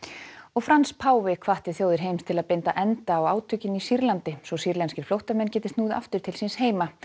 Frans páfi hvatti þjóðir heims til að binda enda á átökin í Sýrlandi svo sýrlenskir flóttamenn geti snúið aftur til síns heima